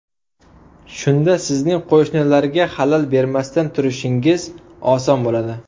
Shunda sizning qo‘shnilarga xalal bermasdan turishingiz oson bo‘ladi.